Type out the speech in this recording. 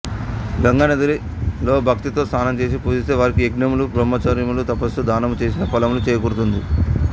గంగానదిలో భక్తితో స్నానం చేసి పూజిస్తే వారికి యజ్ఞములు బ్రహ్మచర్యము తపస్సు దానములు చేసిన ఫలము చేకూరుతుంది